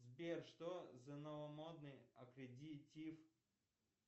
сбер что за новомодный аккредитив